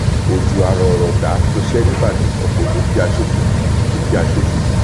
òjò àrọọrọdá ṣọṣẹ nìbàdàn ọpọ dúkìá ṣòfò dúkìá ṣòfò